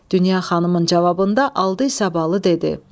Dünya xanımın cavabında aldı İsabalı dedi: